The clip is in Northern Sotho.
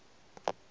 di na le kheri ye